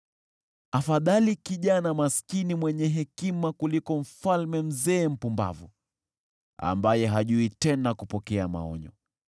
Afadhali kijana maskini mwenye hekima kuliko mfalme mzee mpumbavu ambaye hajui tena kupokea maonyo.